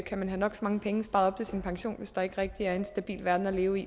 kan have nok så mange penge sparet op til sin pension men hvis der ikke er en stabil verden at leve i